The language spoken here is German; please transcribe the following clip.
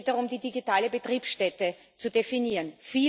Es geht darum, die digitale Betriebsstätte zu definieren.